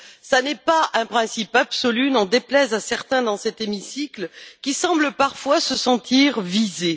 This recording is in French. Ce n'est pas un principe absolu, n'en déplaise à certains dans cet hémicycle qui semblent parfois se sentir visés.